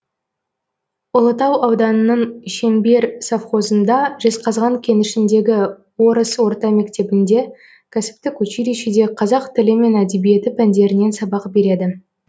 ұлытау ауданының шеңбер совхозында жезқазған кенішіндегі орыс орта мектебінде кәсіптік училищеде қазақ тілі мен әдебиеті пәндерінен сабақ береді